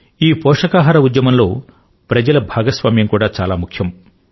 ఈ పోషకాహార ఉద్యమం లో ప్రజల భాగస్వామ్యం కూడా చాలా ముఖ్యం